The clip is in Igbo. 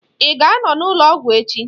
Ị ga anọ n'ụlọ ọgwụ echi?